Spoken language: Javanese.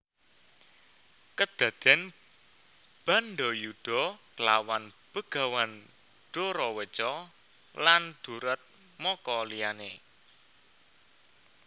Kedaden bandayuda klawan Begawan Doraweca lan duratmaka liyane